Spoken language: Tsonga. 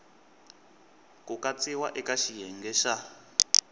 ku katsiwa eka xiyenge xa